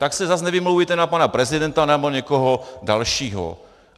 Tak se zase nevymlouvejte na pana prezidenta nebo někoho dalšího!